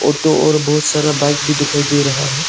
Auto और बहुत सारा बाइक भी दिखाई दे रहा है।